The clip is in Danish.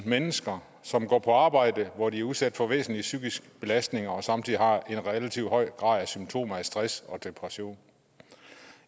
mennesker som går på arbejde hvor de er udsat for væsentlig psykisk belastning og samtidig har en relativt høj grad af symptomer stress og depression